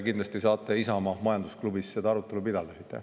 Kindlasti saate Isamaa majandusklubis seda arutelu pidada.